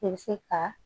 I bɛ se ka